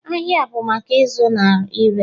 Ahịa bụ maka ịzụ na ire